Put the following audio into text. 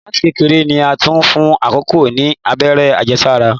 Láti kékeré ni a ti ń fún ìkòkò ni Abẹ́rẹ́ àjẹsára.